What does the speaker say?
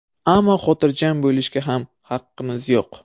Ammo xotirjam bo‘lishga ham haqqimiz yo‘q.